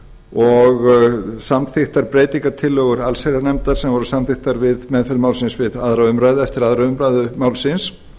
og samþykktar breytingartillögur allsherjarnefndar sem voru samþykktar við meðferð málsins eftir aðra umræðu málsins